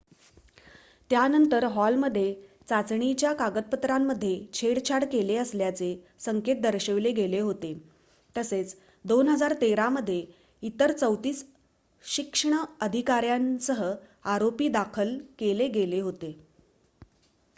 त्यानंतर हॉलमध्ये चाचणीच्या कागदपत्रांमध्ये छेडछाड केले असल्याचे संकेत दर्शवले गेले होते तसेच 2013 मध्ये इतर 34 शिक्ष्ण अधिकार्‍यांसह आरोपी दाखल केले गेले होते